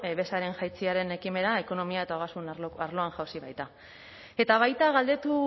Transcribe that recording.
bezaren jaitsieraren ekimena ekonomia eta ogasun arloan jauzi baita eta baita galdetu